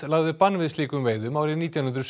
lagði bann við slíkum veiðum árið nítján hundruð